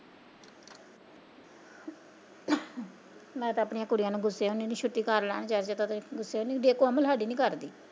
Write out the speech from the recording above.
ਮੈਂ ਤਾਂ ਆਪਣੀਆਂ ਕੁੜੀਆਂ ਨੂੰ ਗੁੱਸੇ ਹੁੰਦੀ ਐ ਛੁੱਟੀ ਕਰਲੈ ਅੱਜ ਤੱਦੇ ਗੁੱਸੇ ਨਹੀ ਹੁੰਦੀ ਕੋਮਲ ਸਾਡੀ ਨੀ ਕਰਦੀ।